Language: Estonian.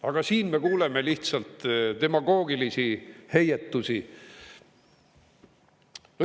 Aga siin me kuuleme lihtsalt demagoogilisi heietusi.